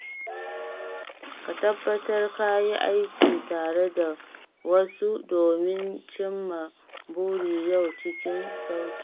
Ka tabbatar ka yi aiki tare da wasu domin cimma burin yau cikin sauƙi.